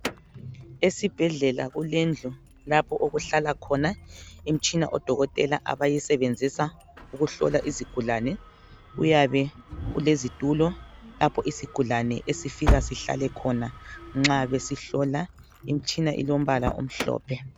Esibhedlela kulendlu lapho okuhlala khona imitshina odokotela abayisebenzisa ukuhlola izigulane kuyabe kulezitulo lapho isigulane esifika sihlale khona nxa besihlola, imitshina ilombala omhlophe.